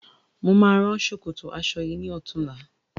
Mo máa rán ṣòkòtò aṣọ yìí ní ọ̀tunla